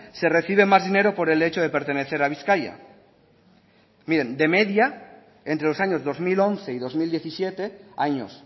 se recibe más dinero por el hecho de pertenecer a bizkaia miren de media entre los años dos mil once y dos mil diecisiete años